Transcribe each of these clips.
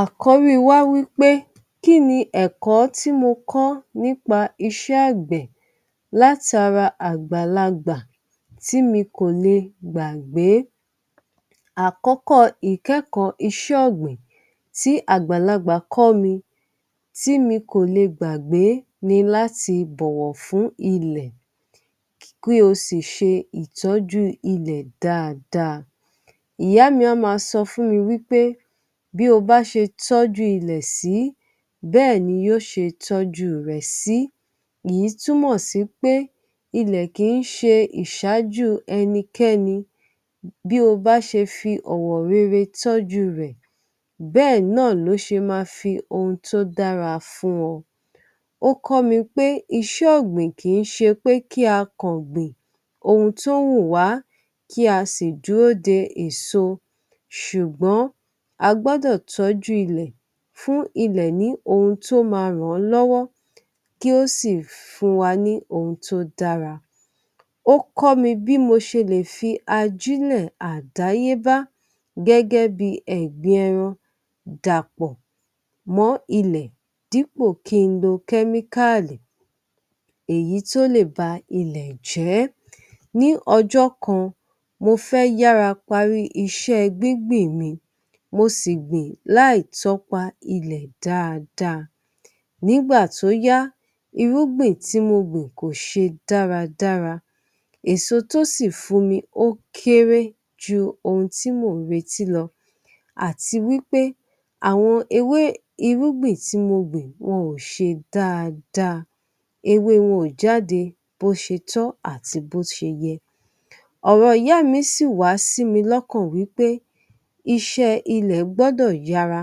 Àkọ́rí wá wí pé kí́n ni ẹ̀kọ́ tí mo kọ́ nípa iṣẹ́ ọ̀gbìn láti ara àgbàlagbà tí mi kò lè gbàgbé? Àkọ́kọ̀ ìkẹ́ẹ̀kọ́ iṣẹ́ ọ̀gbìn tí àgbàlagbà kọ́ mí tí mi kò lè gbàgbé ni láti bọ̀wọ̀ fún ilẹ̀ kí ó sì ṣe ìtọ́jú ilẹ̀ dáadáa. Ìyá mi a máa sọ fún mi wí pé bí o bá ṣe tọju ilẹ̀ sí, bẹ́ẹ̀ ni yóò ṣe tọju rẹ̀ sí. Èyí túmọ̀ sí i pé ilẹ̀ kì í ṣe ìṣáájú ẹnikẹ́ni, bí ọba ṣe fi ọwọ̀ rere tọju rẹ̀, bẹ́ẹ̀ náà ló ṣe máa fi ohun tó dára fún ọ. Ó kọ́ mí pé iṣẹ́ ọ̀gbìn kì í ṣe pé kí a kàngbìn ohun tó ń wù wá, kí a sì dúró de èso. Ṣùgbọ́n a gbọdọ̀ tọju ilẹ̀ fún ilẹ̀ ní ohun tó máa rán lọ́wọ́, kí ó sì fún wa ní ohun tó dára. Ó kọ́ mí bí mo ṣe lè fi ajilẹ̀ àdáyébá gẹ́gẹ́ bí ẹ̀gbin ẹran dàpọ̀ mọ́ ilẹ̀ dípò kí n lo chemical èyí tó lè bà ilẹ̀ jẹ. Ní ọjọ́ kan mo fẹ́ yára parí iṣẹ́ gbíngbìn mi, mo sì gbìn láì tọ́pa ilẹ̀ dáadáa. Nígbà tó yá, irúgbìn tí mo gbìn kò ṣe dáadáa. Èso tó sì fún mi ó kéré ju ohun tí mo ń retí lọ, àti wí pé àwọn ewé irúgbìn tí mo gbìn wọn ò ṣe dáadáa. Ewé wọn ò jáde bó ṣe tọ́ àti bó ṣe yẹ. Ọ̀rọ̀ ìyá mi sì wá sí mi lọ́kàn wí pé iṣẹ́ ilẹ̀ gbọdọ̀ yára,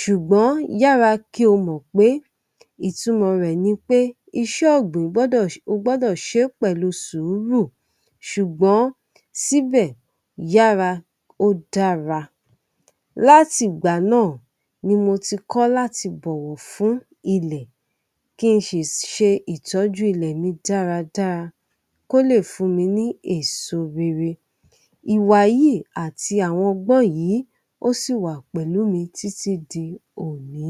ṣùgbọ́n yára kí o mọ̀ pé ìtumọ̀ rẹ̀ ní pé iṣẹ́ ọ̀gbìn gbọdọ̀, o gbọdọ̀ ṣe pẹ̀lú sùúrù. Ṣùgbọ́n síbẹ̀, yára, ó dára. Láti ìgbà náà ni mo ti kọ́ láti bọ̀wọ̀ fún ilẹ̀ kí n sì ṣe ìtọ́jú ilẹ̀ mi dáadáa, kó lè fún mi ní èso rere. Ìwà yìí àti àwọn ọgbọ̀n yìí ó sì wà pẹ̀lú mi títí di òní.